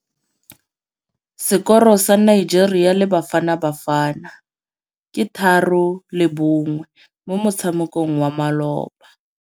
Sekôrô sa Nigeria le Bafanabafana ke 3-1 mo motshamekong wa malôba.